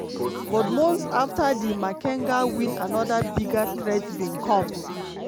but months afta di makenga win anoda bigger threat bin come.